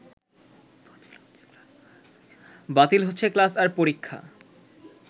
বাতিল হচ্ছে ক্লাস আর পরীক্ষা